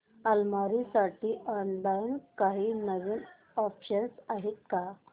अलमारी साठी ऑनलाइन काही नवीन ऑप्शन्स आहेत का